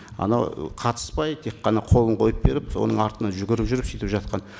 анау ы қатыспай тек қана қолын қойып беріп соның артынан жүгіріп жүріп сөйтіп жатқан